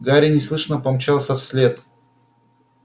гарри неслышно помчался вслед